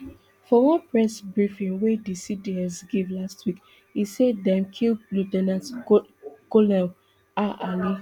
for one press briefing wey di cds give last week e say dem kill lieu ten ant colonel ah ali